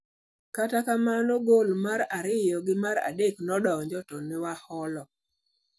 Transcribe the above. Kata kamano, gol mar ariyo gi mar adek nodonjo to newaloho".